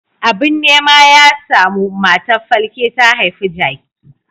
Abin nema ya samu, matar falke ta haifi jaki.